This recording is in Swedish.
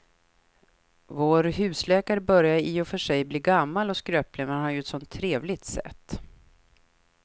Vår husläkare börjar i och för sig bli gammal och skröplig, men han har ju ett sådant trevligt sätt!